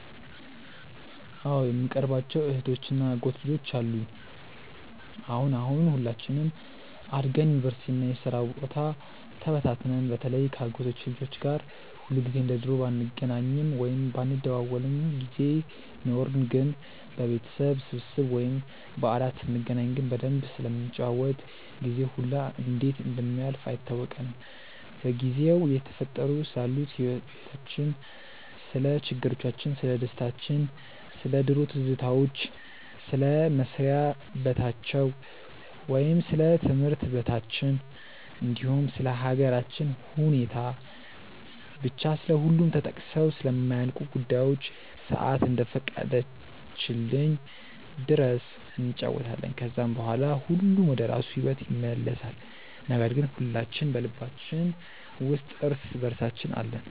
አዎ በጣም የምቀርባቸው እህቶች እና የአጎት ልጆች አሉኝ። አሁን አሁን ሁላችንም አድገን ዩኒቨርሲቲ እና የስራ ቦታ ተበታትነን በተለይ ከ አጎቶቼ ልጆች ጋር ሁልጊዜ እንደ ድሮ ባንገናኝም ወይም ባንደዋወልም ጊዜ ኖርን ግን በቤተሰብ ስብስብ ወይም በዓላት ስንገናኝ ግን በደንብ ስለምንጫወት ጊዜው ሁላ እንዴት እንደሚያልፍ አይታወቀንም። በጊዜው እየተፈጠሩ ስላሉት ህይወቲቻችን፣ ስለ ችግሮቻችን፣ ስለደስታችን፣ ስለ ድሮ ትዝታዎች፣ ስለ መስሪያ በታቸው ወይም ስለ ትምህርት በታችን እንዲሁም ስለ ሃገራችን ሁኔታ፤ ብቻ ስለሁሉም ተጠቅሰው ስለማያልቁ ጉዳዮች ሰአት እስከፈቀደችልን ድረስ እንጫወታለን። ከዛም በኋላ ሁሉም ወደራሱ ሂዎት ይመለሳል ነገር ግን ሁላችን በልባችን ውስጥ እርስ በእርሳችን አለን።